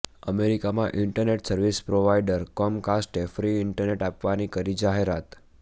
અમેરિકામાં internet service provider કોમકાસ્ટે free internet આપવાની કરી જાહેરાત